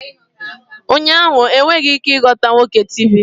Ụnyaahụ, ha enweghị ike ịghọta nwoke Tivi